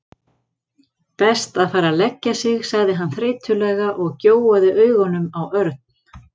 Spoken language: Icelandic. Best að fara að leggja sig sagði hann þreytulega og gjóaði augunum á Örn.